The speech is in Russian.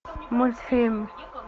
мультфильм